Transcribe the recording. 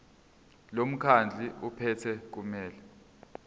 lomkhandlu ophethe kumele